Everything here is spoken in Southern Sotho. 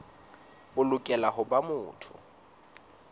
o lokela ho ba motho